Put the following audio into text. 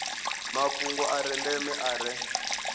mafhungo a ndeme a re